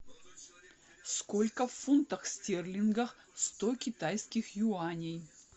сколько в фунтах стерлингах сто китайских юаней